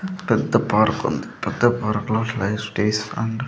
పెద్ద పార్కుంది పెద్ద పార్కులో అండ్ --